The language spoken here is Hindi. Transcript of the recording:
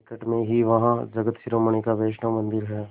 निकट में ही वहाँ जगत शिरोमणि का वैष्णव मंदिर है